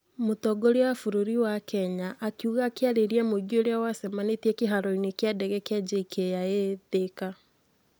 mũtongoria wa bũrũri wwa Kenya akiuga akĩarĩria mũingĩ ũrĩa wacemanirie kĩharoinĩ kĩa ndege kĩa JKIA, Thika.